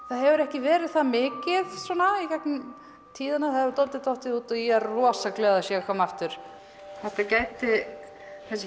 það hefur ekki verið það mikið svona gegnum tíðina það hefur dálítið dottið út og ég er rosa glöð að það sé að koma aftur þetta gæti þessi